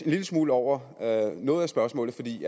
lille smule over noget af spørgsmålet fordi